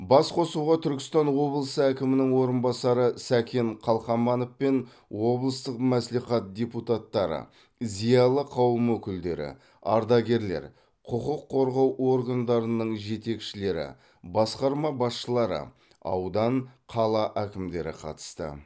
басқосуға түркістан облысы әкімінің орынбасары сәкен қалқаманов пен облыстық мәслихат депутаттары зиялы қауым өкілдері ардагерлер құқық қорғау органдарының жетекшілері басқарма басшылары аудан қала әкімдері қатысты